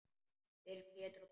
Fyrir Pétur og Pál.